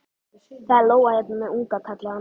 Það er lóa hérna með unga, kallaði hann.